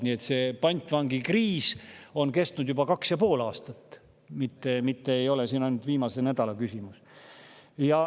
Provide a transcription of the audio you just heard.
Nii et see pantvangikriis on kestnud juba kaks ja pool aastat, mitte ei ole ainult viimase nädala küsimus.